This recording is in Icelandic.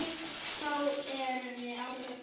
Þó erum við ágætar.